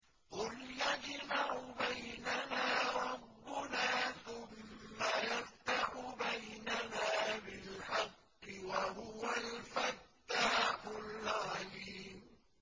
قُلْ يَجْمَعُ بَيْنَنَا رَبُّنَا ثُمَّ يَفْتَحُ بَيْنَنَا بِالْحَقِّ وَهُوَ الْفَتَّاحُ الْعَلِيمُ